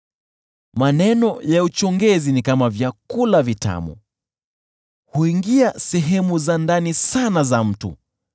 Maneno ya mchongezi ni kama chakula kitamu; huingia sehemu za ndani sana za mtu.